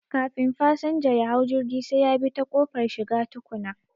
Kafin fasanja yahau jirgi sai yabi ta ƙofar shiga tukuna